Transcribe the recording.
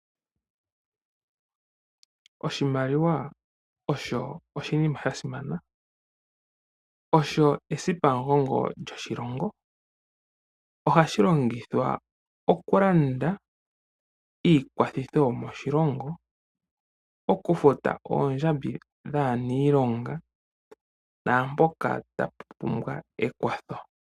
Oshimaliwa osho oshinima sha simana, osho esipa lyomugongo lyoshilongo. O hashi longithwa okulanda iikwathitho yo moshilongo ,okufuta oondjambi dhaa niilonga naampoka ta tu pumbwa ekwatho.